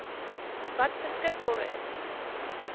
wat beskikbaar is